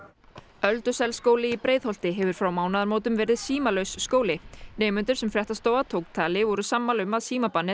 Ölduselsskóli í Breiðholti hefur frá mánaðamótum verið símalaus skóli nemendur sem fréttastofa tók tali voru sammála um að